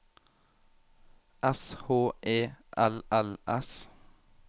S H E L L S